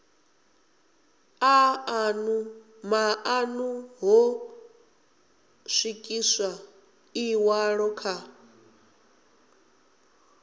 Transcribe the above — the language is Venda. maṱanu ho swikiswa ḽiṅwalo kha